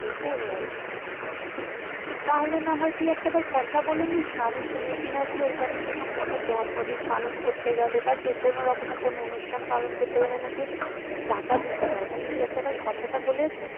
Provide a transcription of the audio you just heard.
ও তাহলে তুই না হয় একটা বার কথা বলে নিস না আমি শুনেছি নাকি ওখানে কোন জন্মদিন পালন করতে গেলে মানে যা যেকোন রকমের কোন অনুষ্ঠান করতে গেলে নাকি টাকা দিতে হয়